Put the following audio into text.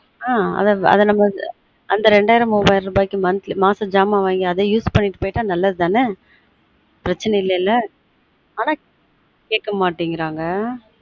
அந்த ரெண்டாயிரம் மூவாயிரம் ரூபாய்க்கு monthly மாசம் ஜாமா வாங்கி அத use பண்ணிட்டு போய்ட்டா நல்லது தான ப்ரச்சனை இல்லல ஆன கேட்க மாட்டீங்கறாங்க ஆன் அத நம்ம வந்து